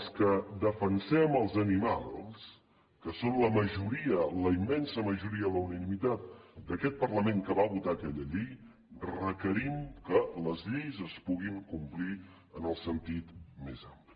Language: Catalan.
els que defensem els animals que són la majoria la immensa majoria la unanimitat d’aquest parlament que va votar aquella llei requerim que les lleis es puguin complir en el sentit més ampli